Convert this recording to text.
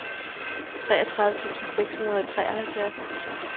treogtredive tusind seks hundrede og treoghalvfjerds